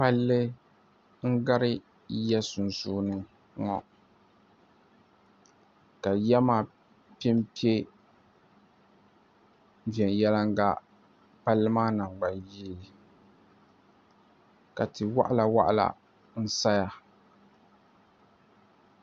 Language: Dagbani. Palli n-ɡari ya sunsuuni ŋɔ ka ya maa pe m-pe viɛnyɛliŋɡa palli maa naŋɡbanyee ka ti' wɔɣilawɔɣila saya